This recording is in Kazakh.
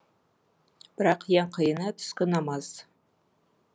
бірақ ең қиыны түскі намаз